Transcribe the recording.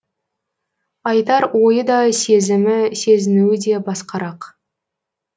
айтар ойы да сезімі сезінуі де басқарақ